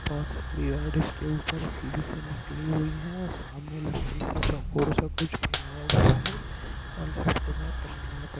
और सारी रॉड इसके ऊपर सीधी सी निकली हुई है और सामने लकड़ी से चोकोर सा कुछ बनाया गया है और लेफ्ट मे पन्नीया पड़ी--